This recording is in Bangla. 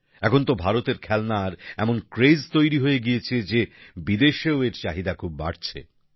এখন তো ভারতের খেলনার এমন ক্রেস তৈরি হয়ে গিয়েছে যে বিদেশেও এর চাহিদা খুব বাড়ছে